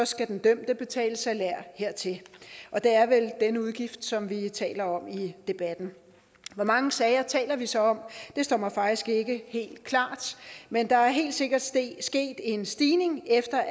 skal den dømte betale salær hertil og det er vel denne udgift som vi taler om i debatten hvor mange sager taler vi så om det står mig faktisk ikke helt klart men der er helt sikkert sket en stigning efter